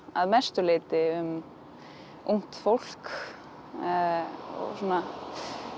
að mestu leyti um ungt fólk og svona